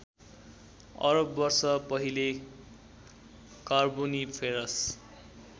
अरब वर्ष पहिले कार्बोनिफेरस